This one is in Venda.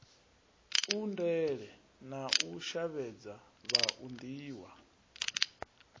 undele na u shavhedza vhauniwa